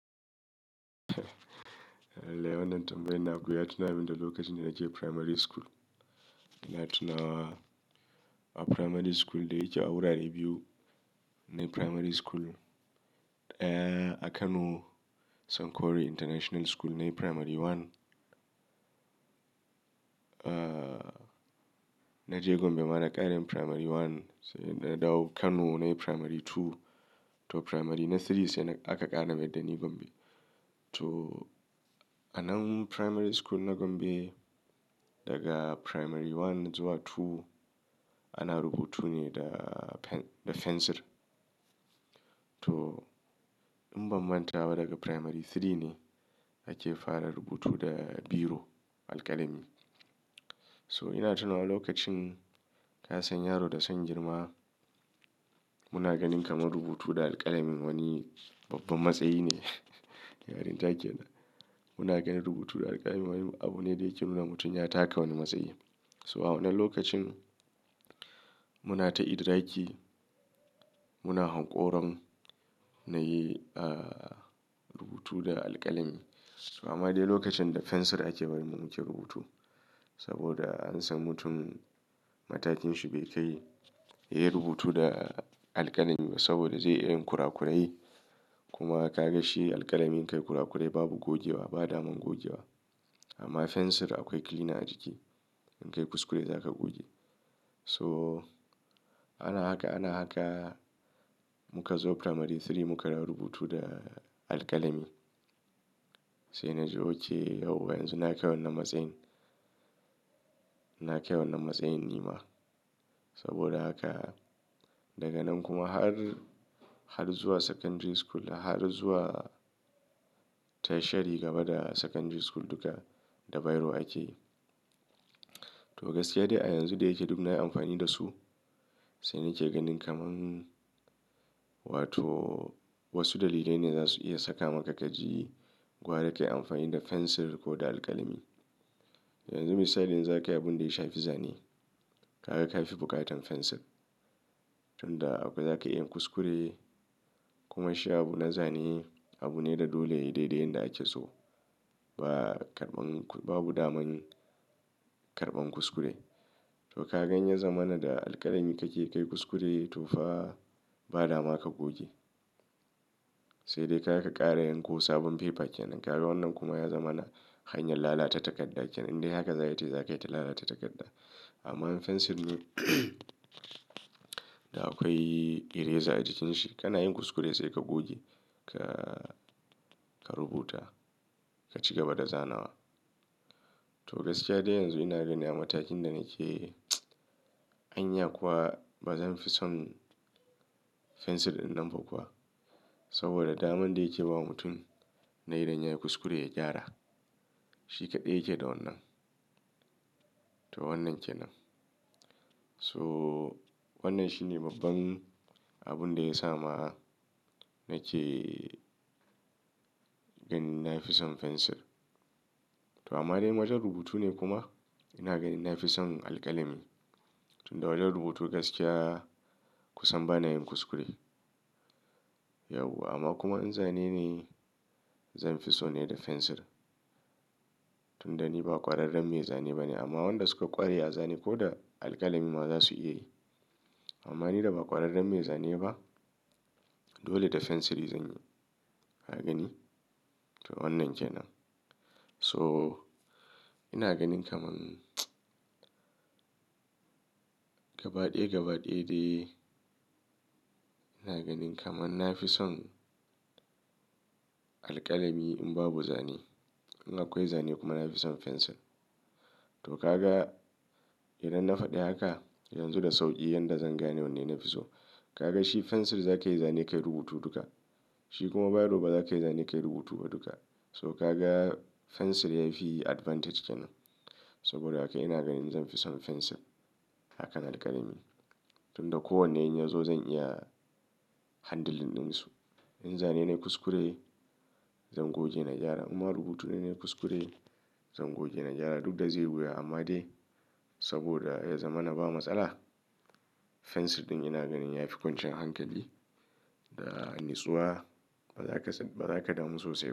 Gaskiya wannan tambayan naku ya tunamin da lokacin da nake primary school. Ina tunawa a primary school dai yake a wurare biyu. Nayi primary school, aah a Kano Sunkori International School nayi primary one. Eh naje Gombe ma na ƙara yin primary one, sai na dawo Kano na yi primary two to primary na three sai aka ƙara mayar da ni Gombe. To a nan primary school na Gombe daga primary one zuwa two ana rubutu ne da pen da pencil. To in bamman in ban manta ba daga primary three ne ake fara rubutu da biro, alƙalami. So ina tuna lokacin ka san yaro da son girma muna ganin kama rubutu da alƙalami wani babban matsayi ne. Muna ganin rubutu da alƙalami wani abu ne da yake nuna mutum ya taka wani matsayi. So a wannan lokacin muna ta idraki muna hanƙurin muyi rubutu da alƙalami. Amma dai lokacin da pencil ake bari mu ke rubutu. Saboda an san mutum matakin shi bai kai yayi rubutu da alkalami ba saboda ze iya yin kurakurai. Kuma ka ga shi alƙalami kai kurakurai babu gogewa ba daman gogewa. Amma pencil akwai cleaner a jiki. In ka yi kuskure za ka goge. So ana haka, ana haka muka zo primary three muka dawo rubutu da alƙalami. Sai na ji oke yau yanzu na kai wannan matsayin. Na kai wannan matsayin nima. Saboda haka daga nan kuma har, har zuwa secondary school har zuwa tertiary gaba da secondary school duka da biro ake. To gaskiya dai a yanzu da yake duk nayi amfani da su. Sai nake ganin kaman wato wasu dalilai ne zasu iya saka maka ka ji gwada ka yi amfani da pencil ko da alƙalami. Yanzu misali in za ka yi abun da ya shafi Zane. Ka ga ka fi buƙatar pencil. Tunda zaka iya yin kuskure kuma shi abu na Zane abu ne da dole ya yi daidai yanda ake so. Ba karɓan, babu daman karɓan kuskure. To ka gani ya zamana da alƙalami ka ke ka yi kuskure toh fa ba dama ka goge. Sai dai zaka ƙara yanko sabon paper kenan. Ka ga wannan kuma ya zamana hanyar lalata takarda kenan. Indai haka zaka yi mutum zaiyi ta lalata takarda. Amma pencil ne da akwai eraser a jikin shi. Kana yin kuskure sai ka goge. Ka, ka rubuta. Ka ci gaba da zanawa. To gaskiya dai yanzu ina gani a matakin da nake anya kuwa ba zan fi son pencil ɗin nan ba kuwa? Saboda daman da yake bawa mutum na idan yayi kuskure ya gyara. Shi kaɗai yake da wannan. To wannan kenan. So wannan shi ne babban abun da ya sa ma'a nake ganin na fi son pencil. To amma dai in wajen rubutu ne kuma ina ganin na fi son alƙalami. Tunda wajen rubutu gaskiya kusan bana yin kuskure. Yauwa amma kuma in Zane ne zan fi so ne da pencil. Tunda ni ba ƙwararren mai Zane ba ne amma waɗanda su ka ƙware a Zane ko da alƙalami ma za su iya yi. Amma ni da ba ƙwararren mai Zane ba dole da pencil zanyi. Ka gani? To wannan kenan. So ina ganin kaman gaba ɗaya gaba ɗaya dai ina ganin kaman na fi son alƙalami in babu Zane. In akwai Zane kuma na fi son pencil. To ka ga idan na faɗi haka yanzu da sauƙi yanda zan gane wanne na fi so. Ka ga shi pencil zaka yi Zane kayi rubutu duka. Shi kuma biro ba za ka yi Zane kai rubutu ba duka. So ka ga pencil yafi advantage kenan. Saboda haka ina ganin zan fi son pencil. Akan alƙalami. Tunda ko wanne in yazo zan iya handling ɗinsu. In Zane na yi kuskure zan goge na gyara. In ma rubutu ne yi kuskure zan goge na gyara duk da zai wuya amma dai saboda ya zamana ba matsala. Pencil ɗin ina ganin yafi kwanciyar hankali. Da natsuwa bazaka, bazaka damu sosai.